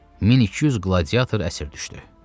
1200 qladiator əsir düşdü.